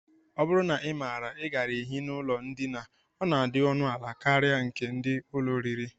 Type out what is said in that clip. Ọ bụrụ na ị maara, I gaara ehi n'ụlọ ndina, ọ na-adị ọnụala karịa nke ndị ụlọ oriri